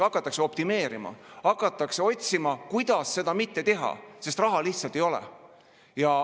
Hakatakse optimeerima, hakatakse otsima, kuidas seda mitte teha, sest raha lihtsalt ei ole.